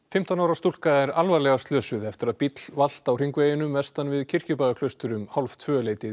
fimmtán ára stúlka er alvarlega slösuð eftir að bíll valt á hringveginum vestan við Kirkjubæjarklaustur um